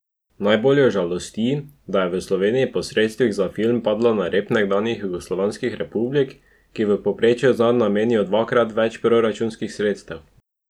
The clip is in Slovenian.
Najbolj jo žalosti, da je Slovenija po sredstvih za film padla na rep nekdanjih jugoslovanskih republik, ki v povprečju zanj namenjajo dvakrat več proračunskih sredstev.